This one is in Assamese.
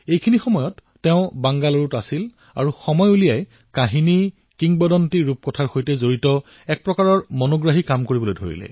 এতিয়া তেওঁ বেংগালুৰুত থাকে আৰু সময় উলিয়াই সাধুৰ সৈতে জড়িত এই প্ৰকাৰৰ আকৰ্ষণীয় কাম কৰে